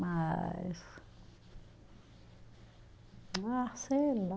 Mas, ah, sei lá.